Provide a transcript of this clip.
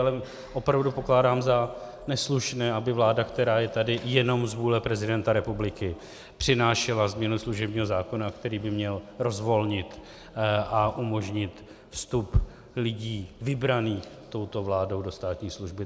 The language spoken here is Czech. Ale opravdu pokládám za neslušné, aby vláda, která je tady jenom z vůle prezidenta republiky, přinášela změnu služebního zákona, který by měl rozvolnit a umožnit vstup lidí vybraných touto vládou do státní služby.